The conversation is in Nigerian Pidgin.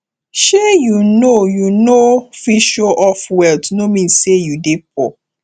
sey you no you no fit show off wealth no mean sey you dey poor